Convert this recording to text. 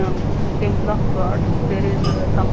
Uhm Temple of God there is some.